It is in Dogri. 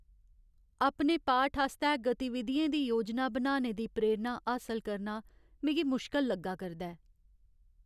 अपने पाठ आस्तै गतिविधियें दी योजना बनाने दी प्रेरणा हासल करना मिगी मुशकल लग्गा करदा ऐ।